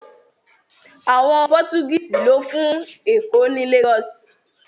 Àwọn Pọ́tugíìsì lọ́ fún Èkó ní Lagos